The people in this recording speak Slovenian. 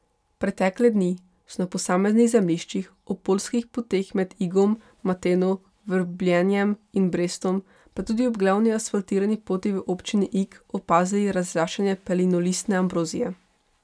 Pretekle dni so na posameznih zemljiščih, ob poljskih poteh med Igom, Mateno, Vrbljenjem in Brestom, pa tudi ob glavni, asfaltirani poti v občini Ig opazili razraščanje pelinolistne ambrozije.